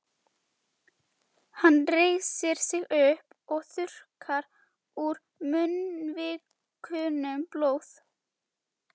Hann reisir sig upp og þurrkar úr munnvikunum blóð.